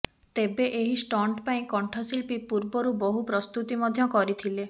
ତେବେ ଏହି ଷ୍ଟଣ୍ଟ ପାଇଁ କଣ୍ଠଶିଳ୍ପୀ ପୂର୍ବରୁ ବହୁ ପ୍ରସ୍ତୁତି ମଧ୍ୟ କରିଥିଲେ